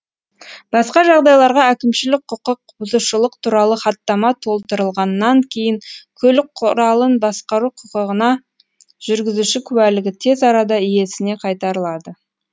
басқа жағдайларда әкімшілік құқық бұзушылық туралы хаттама толтырылғаннан кейін көлік құралын басқару құқығына жүргізуші куәлігі тез арада иесіне қайтарылады